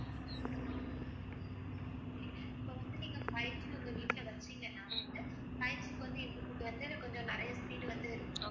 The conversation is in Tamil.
இப்ப வந்து நீங்க fiveG உங்க வீட்ல வச்சீங்கன்னா வந்து fiveG க்கு வந்து எங்ககிட்ட வந்து கொஞ்சம் நிறைய speed வந்து~